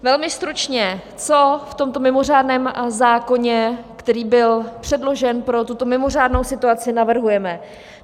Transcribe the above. Velmi stručně, co v tomto mimořádném zákoně, který byl předložen pro tuto mimořádnou situaci, navrhujeme.